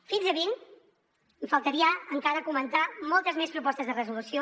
fins a vint faltaria encara comentar moltes més propostes de resolució